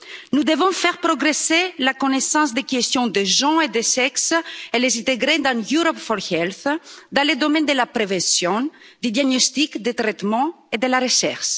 Nous devons faire progresser la connaissance des questions de genre et de sexe et les intégrer dans le programme EU4Health, dans les domaines de la prévention, des diagnostics, des traitements et de la recherche.